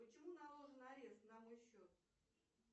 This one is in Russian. почему наложен арест на мой счет